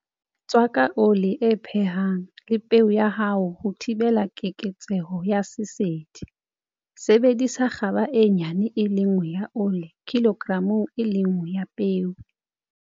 Tswaka ole e phehang le peo ya hao ho thibela keketseho ya sesedi. Sebedisa kgaba e nyane e le nngwe ya ole kilogramong e le nngwe ya peo.